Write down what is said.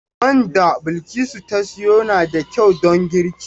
Man da Bilkisu ta sayo na da kyau don girki.